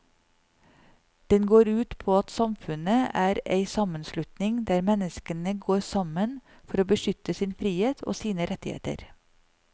Den går ut på at samfunnet er ei sammenslutning der menneskene går sammen for å beskytte sin frihet og sine rettigheter.